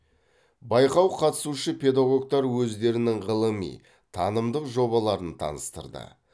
байқау қатысушы педагогтар өздерінің ғылыми танымдық жобаларын таныстырды